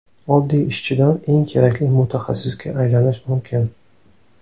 Oddiy ishchidan eng kerakli mutaxassisga aylanish mumkin.